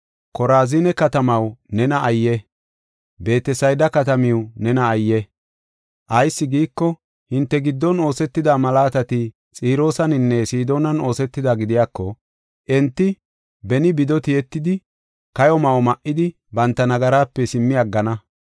“Korazine katamaw nena ayye! Beetesayda katamaw nena ayye! Ayis giiko, hinte giddon oosetida malaatati Xiroosaninne Sidoonan oosetida gidiyako, enti beni bido tiyetidi, kayo ma7o ma7idi banta nagarape simmi aggana.